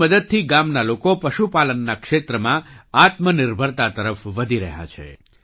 તેની મદદથી ગામના લોકો પશુપાલનના ક્ષેત્રમાં આત્મનિર્ભરતા તરફ વધી રહ્યા છે